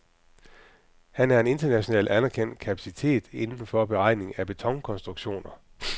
Han er en internationalt anerkendt kapacitet inden for beregning af betonkonstruktioner.